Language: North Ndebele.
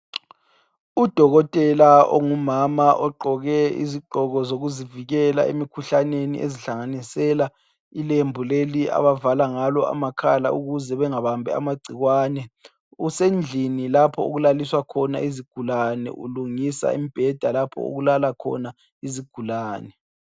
Udokotela ongumama ogqoke izigqoko sokuzivikela emikhuhlaneni ezihlanganisela ilembu leli abavala ngalo amakhala ukuze bangabambi amagcikwane usendlini lapho okulaliswa khona izigulane ulungisa imbheda lapho okulala khona izigulane